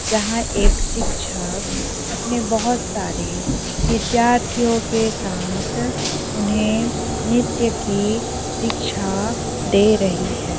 जहाँ एक शिक्षक अपने बहुत सारे विद्यार्थियों के साथ उन्हे नृत्य की शिक्षा दे रही है।